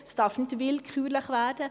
Es darf nicht willkürlich werden.